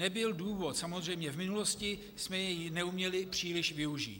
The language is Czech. Nebyl důvod, samozřejmě, v minulosti jsme jej neuměli příliš využít.